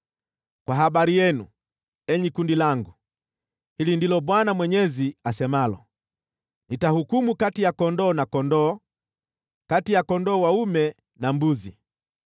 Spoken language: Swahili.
“ ‘Kwa habari yenu, enyi kundi langu, hili ndilo Bwana Mwenyezi asemalo: Nitahukumu kati ya kondoo na kondoo, kati ya kondoo dume na mbuzi.